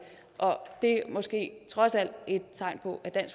og det er måske trods alt et tegn på at